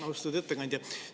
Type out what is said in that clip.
Austatud ettekandja!